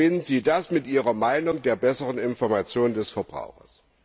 Wie verbinden Sie das mit Ihrer Meinung der besseren Information des Verbrauchers?